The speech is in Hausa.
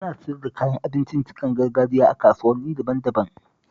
Ana siyar da kayan abincin gargajiya a kasuwanni daban-daban